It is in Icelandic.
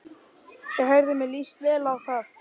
Já heyrðu, mér líst vel á það!